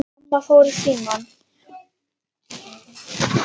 Amma fór í símann.